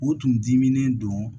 O tun diminen don